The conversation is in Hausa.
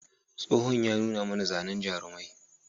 Tsohon ya nuna mana zanen jarumai.